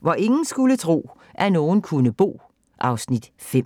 Hvor ingen skulle tro, at nogen kunne bo (Afs. 5)